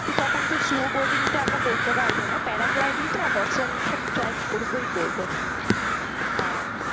তো তখন তো snow boating টা আমরা করতে পারবো না, parad lighting টা আর horse riding টা আমি try করবোই করবো হ্যাঁ।